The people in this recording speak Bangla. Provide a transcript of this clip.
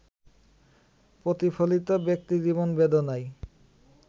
প্রতিফলিত ব্যক্তিজীবন বেদনায়